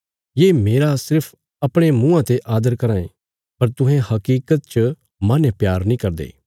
ये मेरा सिर्फ अपणे मुँआं ते आदर कराँ ये पर तुहें हकीकत च माहने प्यार नीं करदे